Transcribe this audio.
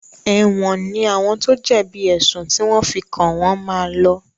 Èwọ̀n ní àwọn tó jẹ̀bi èsùn tí wọ́n fi kàn wọ́n máa lọ.